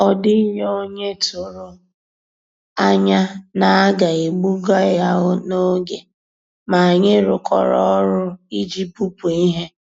Ọ́ dị́ghị́ ónyé tụ̀rụ̀ ànyá ná á gà-èbùgà yá n'ògé, mà ànyị́ rụ́kọ̀rọ́ ọ́rụ́ ìjì bùpú íhé.